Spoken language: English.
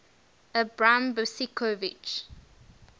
abram besicovitch